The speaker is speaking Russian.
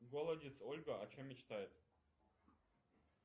голодец ольга о чем мечтает